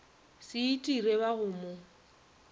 se itire ba go mo